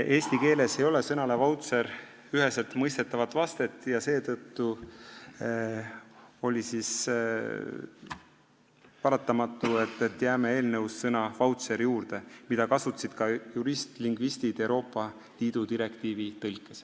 Eesti keeles ei ole sõnale "vautšer" üheselt mõistetavat vastet ja seetõttu oli paratamatu, et jääme eelnõus selle sõna juurde, mida kasutasid ka jurist-lingvistid Euroopa Liidu direktiivi tõlkes.